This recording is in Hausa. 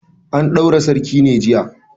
An ɗaura sarkin ne jiya?